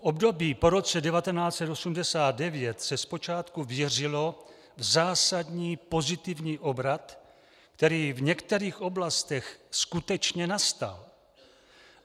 V období po roce 1989 se zpočátku věřilo v zásadní pozitivní obrat, který v některých oblastech skutečně nastal.